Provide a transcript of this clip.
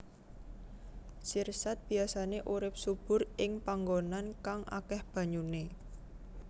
Sirsat biyasané urip subur ing panggonan kang akéh banyuné